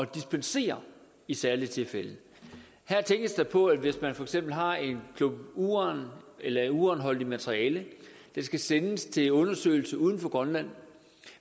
dispensere i særlige tilfælde her tænkes der på at hvis man for eksempel har en klump uran eller et uranholdigt materiale der skal sendes til undersøgelse uden for grønland